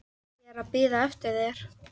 Ég er að bíða eftir þér.